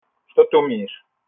что ты умеешь